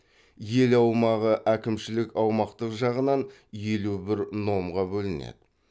ел аумағы әкімшілік аумақтық жағынан елу бір номға бөлінеді